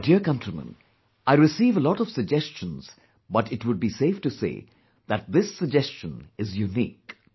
My dear countrymen, I receive a lot of suggestions, but it would be safe to say that this suggestion is unique